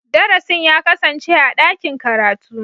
Darasin ya kasance a dakin karatu?